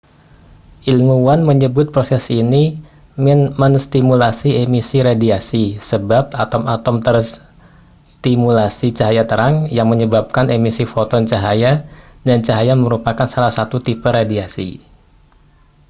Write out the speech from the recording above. ilmuwan menyebut proses ini menstimulasi emisi radiasi sebab atom-atom terstimulasi cahaya terang yang menyebabkan emisi foton cahaya dan cahaya merupakan salah satu tipe radiasi